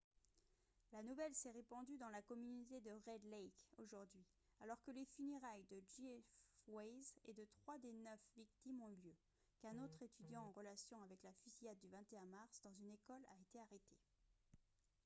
la nouvelle s'est répandue dans la communauté de red lake aujourd'hui alors que les funérailles de jeff weise et de trois des neuf victimes ont eu lieu qu'un autre étudiant en relation avec la fusillade du 21 mars dans une école a été arrêté